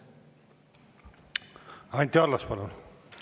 Anti Allas, palun!